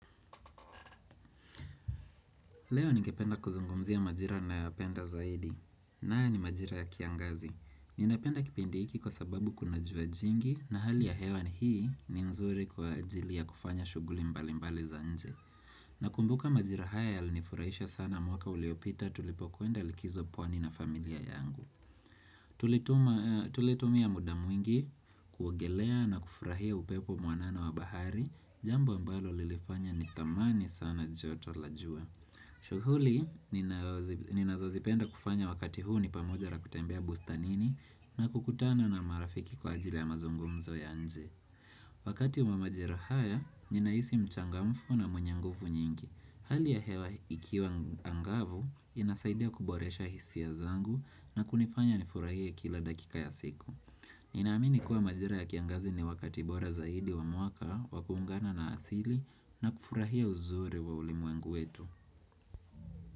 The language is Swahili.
Leo ningependa kuzungumzia majira nayopenda zaidi. Na haya ni majira ya kiangazi. Ninapenda kipindi hiki kwa sababu kuna jua jingi na hali ya hewa ni hii ni nzuri kwa ajili ya kufanya shuguli mbali mbali za nje. Nakumbuka majira haya yalinifurahisha sana mwaka uliopita tulipokwenda likizo pwani na familia yangu. Tulitumia muda mwingi kuogelea na kufurahia upepo mwanana wa bahari jambo ambalo lilifanya ni thamani sana joto la jua. Shukuli, ninazozipenda kufanya wakati huu ni pamoja ra kutembea bustanini na kukutana na marafiki kwa ajili ya mazungumzo ya nje. Wakati wa majira haya, ninahisi mchangamfu na mwenye nguvu nyingi. Hali ya hewa ikiwa angavu, inasaidia kuboresha hisia zangu na kunifanya nifurahie kila dakika ya siku. Ninaamini kuwa majira ya kiangazi ni wakati bora zaidi wa mwaka wa kuungana na asili na kufurahia uzuri wa ulimwengu wetu.